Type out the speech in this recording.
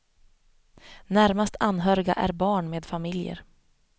Närmast anhöriga är barn med familjer.